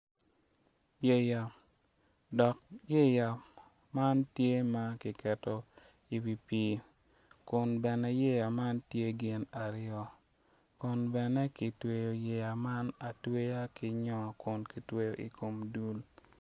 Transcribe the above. Yeya dok yeya man tye ma kiketo iwi pii kun bene yeya man tye gin aryo kun bene gitweyo yeya man atweya ki nyor kun kitweyo i kom dul.